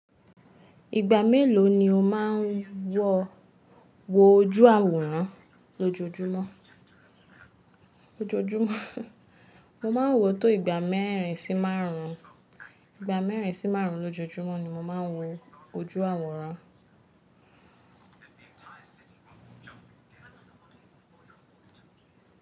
Ìgbà mélòó ni o máa ń wo ojú àwòrán lójoojúmọ́? Lójojúmọ́, mo máa ń wọ tó ìgbà mẹ́rin sí márùn-ún, ìgbà mẹ́rin sí márùn-ún lójoojúmọ́ ni mo máa ń wo ojú àwòrán.